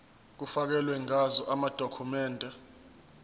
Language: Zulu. kufakelwe ngazo amadokhumende